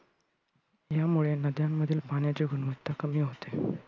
यामुळे नद्यांमधील पाण्याची गुणवत्ता कमी होत आहे.